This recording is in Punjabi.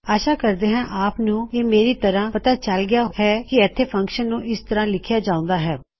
ਆਸ਼ਾ ਕਰਦੇ ਹਾਂ ਆਪ ਨੂੰ ਇਹ ਮੇਰੀ ਤਰਹ ਪਤਾ ਚਲ ਗਇਆ ਹੈ ਕੀ ਐੱਕੋ ਫਂਕਸ਼ਨ ਨੂੰ ਇਸ ਤਰ੍ਹਾ ਲਿਖਿਆ ਜਾਉਂਦਾ ਹੈ